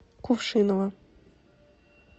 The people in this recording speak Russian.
кувшиново